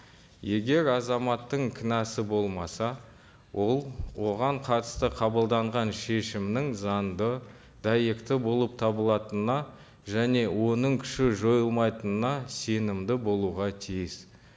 егер азаматтың кінәсі болмаса ол оған қатысты қабылданған шешімнің заңды дәйекті болып табылатынына және оның күші жойылмайтынына сенімді болуға тиіс